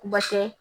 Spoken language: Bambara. Base